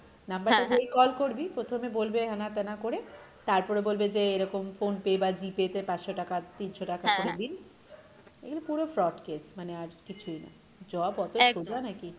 number টা যেই call করবি প্রথমে বলবে হেনা তেনা করে তারপরে বলবে যে এরকম Phonepe বা GPay তে পাঁচশো টাকা, তিনশো টাকা করে দিন, এইগুলো পুরো fraud case মানে আর কিছুই না job অত সোজা নাকী?